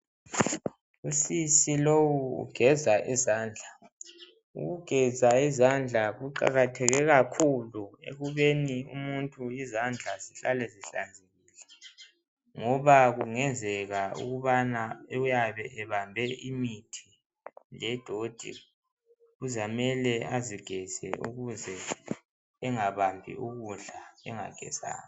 Usisi lowu ugeza izandla ukugeza izandla kuqakatheke kakhulu ukubeni umuntu izandla zihlale zihlanzekile ngoba kungenzeka ukubana uyabe ebambe imithi ledoti kuzamele azigeze ukuze engabambi ukudla engagezanga.